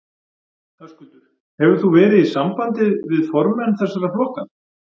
Höskuldur: Hefur þú verið í sambandið við formenn þessara flokka?